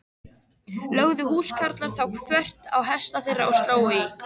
Lögðu húskarlar þá þvert á hesta þeirra og slógu í.